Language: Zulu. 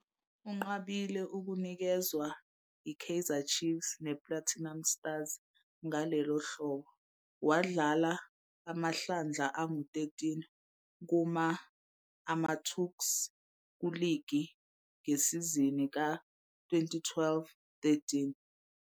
Unqabile ukunikezwa yiKaizer Chiefs nePlatinum Stars ngalelo hlobo, wadlala amahlandla ama-13 kuma-AmaTuks kuligi ngesizini ka-2012-13.